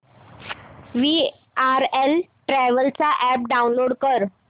VRL travels चा app download कर